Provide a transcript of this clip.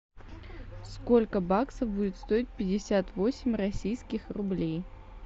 сколько баксов будет стоить пятьдесят восемь российских рублей